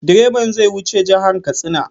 Direban zai wuce jihar Katsina.